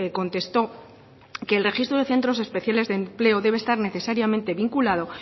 contestó que el registro de centros especiales de empleo debe estar necesariamente vinculado